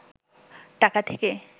টাকা থেকে